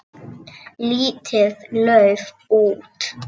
Lítið lauf út.